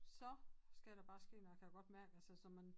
Så skal der bare ske noget jeg kan godt mærke altså så man